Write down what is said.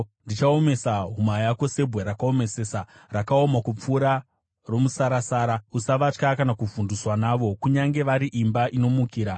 Ndichaomesa huma yako sebwe rakaomesesa, rakaoma kupfuura romusarasara. Usavatya kana kuvhunduswa navo, kunyange vari imba inomukira.”